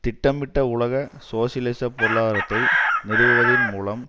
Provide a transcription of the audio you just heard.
திட்டமிட்ட உலக சோசியலிச பொருளாதாரத்தை நிறுவுவதின் மூலம்